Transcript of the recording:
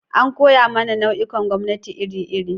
An koya mana nau'ikan gwamnati iri-iri.